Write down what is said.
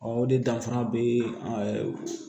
Ɔ o de danfara bee